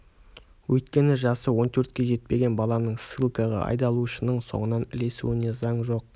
өйткені жасы он төртке жетпеген баланың ссылкаға айдалушының соңынан ілесуіне заң жоқ